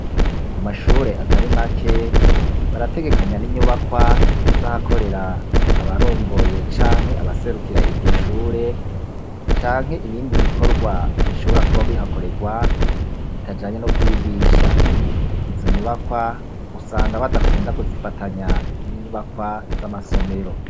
ku mashure atari make barategekanya n'inyubakwa z'ahakorera abarongoye canke abaserukira iryo shure canke ibindi bikorwa bishobora kuba bihakorerwa bitajanye no kwigisha izo nyubakwa usanga badakunda kuzifatanya n'inyubakwa z'amasomero